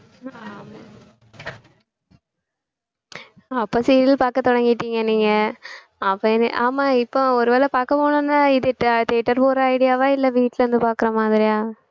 ஆமா அப்ப serial பார்க்க தொடங்கிட்டீங்க நீங்க அப்ப இனி ஆமா இப்ப ஒருவேளை பார்க்க போகணும்னா இது theatre போற idea வா இல்லை வீட்டுல இருந்து பார்க்கிற மாதிரியா